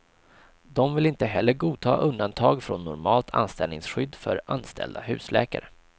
De vill inte heller godta undantag från normalt anställningsskydd för anställda husläkare.